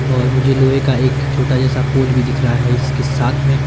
और मुझे लोहे का एक छोटा जैसा पोल भी दिख रहा है इसके साथ में--